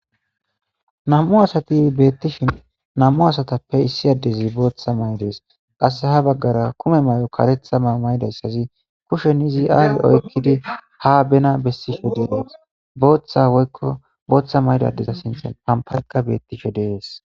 Nam7u asati beettishin nam7u asatatappe issi addezi bootha mayides. Qasseka ha baggara kume mayo kareetha mayo ma7idayssazi kushen izi aazi oykkidi ha bena bessishe dees. Bootha woykko bootha mayida addeza sinthan ampaykka beettishe dees.